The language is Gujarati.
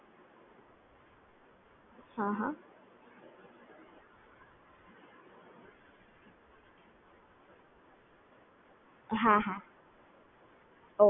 okay okay